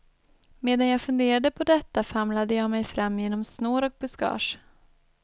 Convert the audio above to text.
Medan jag funderade på detta famlade jag mig fram genom snår och buskage.